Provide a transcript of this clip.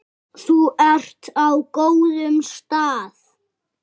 Þú ert á góðum stað.